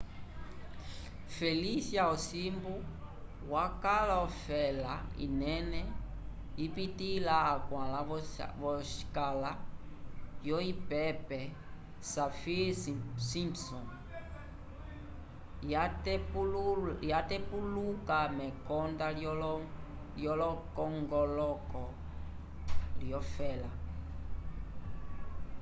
felicia osimbu wakaal ofela inene ipitĩla 4 v'oscala yovipepe saffir-simpson yatepuluka mekonda lyepongoloko lyofela osimbu kayapitilĩle veteke lyatatu lyosemana